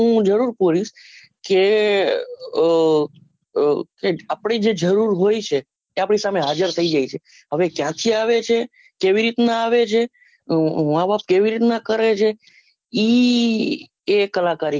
જરૂર ખોળીસ કે આહ એક આપડી જે જરૂર હોય છે કે આપડી સામે હાજર થઇ જાયે છે હવે ક્યાંથી આવે છે કેવી રીતના આવે છે માં બાપ કેવી રીતના કરે છે ઈ કલાકારી